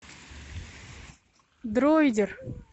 дроидер